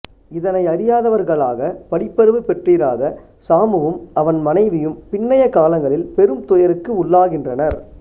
இதனை அறியாதவர்களாக படிப்பறிவு பெற்றிராத சாமுவும் அவன் மனைவியும் பின்னைய காலங்களில் பெரும் துயருக்கு உள்ளாகின்றனர்